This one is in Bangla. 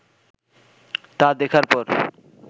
তা দেখার পর